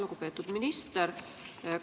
Lugupeetud minister!